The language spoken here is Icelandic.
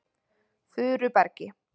Furubergi